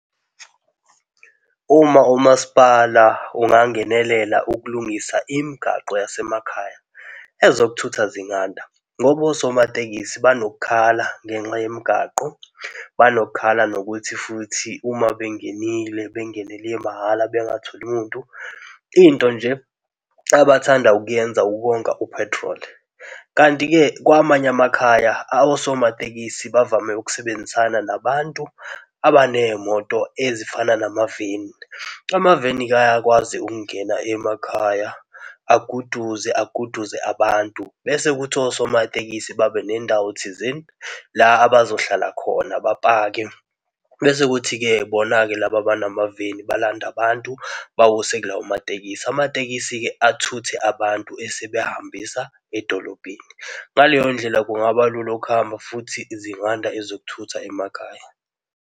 Uma umasipala ungangenelela ukulungisa imigaqo yasemakhaya, ezokuthutha zinganda ngoba osomatekisi banoku khala ngenxa yemigwaqo. Banokukhala nokuthi futhi uma bengenile bengenele mahhala bengatholi muntu. Into nje abathanda ukuyenza ukonga u-petrol, kanti-ke kwamanye amakhaya osomatekisi bavame ukusebenzisana nabantu abanezimoto ezifana namaveni. Amaveni-ke ayakwazi ukungena emakhaya. Aguduze, aguduze abantu bese kuthi osomatekisi babe nendawo thizeni la abazohlala khona bapake bese kuthi-ke bona-ke laba abanamaveni balande abantu bawise kulawo matekisi. Amatekisi-ke athuthe abantu esebehambisa edolobheni. Ngaleyondlela kungaba lula ukuhamba futhi zinganda ezokuthutha emakhaya.